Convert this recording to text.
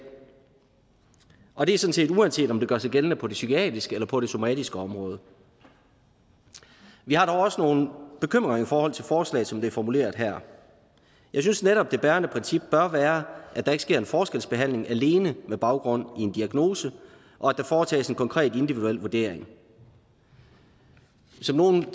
og det set uanset om det gør sig gældende på det psykiatriske eller på det somatiske område vi har dog også nogle bekymringer i forhold til forslaget som det er formuleret her jeg synes netop det bærende princip bør være at der ikke sker en forskelsbehandling alene med baggrund i en diagnose og at der foretages en konkret individuel vurdering som nogle af